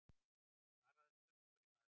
Svaraðu spurningunni maður.